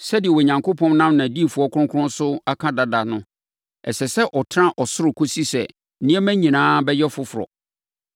Sɛdeɛ Onyankopɔn nam nʼadiyifoɔ kronkron so aka dada no, ɛsɛ sɛ ɔtena ɔsoro kɔsi sɛ nneɛma nyinaa bɛyɛ foforɔ.